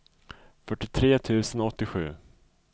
fyrtiotre tusen åttiosju